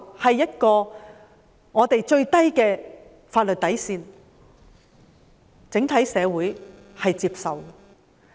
這是本港法律的底線，整體社會是接受的。